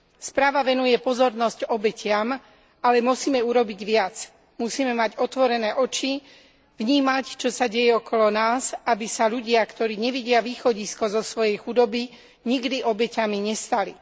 Správa venuje pozornosť obetiam, ale musíme urobiť viac, musíme mať otvorené oči, vnímať, čo sa deje okolo nás, aby sa ľudia, ktorí nevidia východisko zo svojej chudoby, nikdy obeťami nestali.